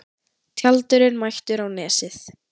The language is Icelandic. Tjaldurinn mættur á Nesið